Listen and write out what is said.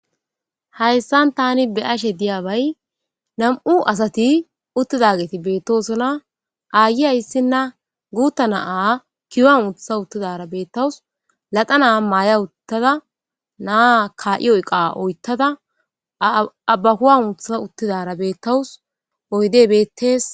hayssan tani be ashe diyabay nam7u asati uttidageti beettosona aayi hayssinna guutta naa kiyoa uutha uttidara beettawus lada naa maaya uttada naa ka7i oyqa oyttada abbakuwa uutha uttidara beettawus oyde betees